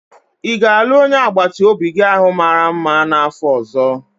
Ị ga-alụ onye agbata obi gi ahụ mara mma n'afọ ọzọ?